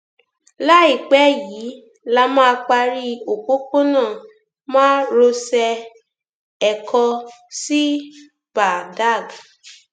láìpẹ yìí la máa parí òpópónà márosẹ ẹ̀kọ sí badág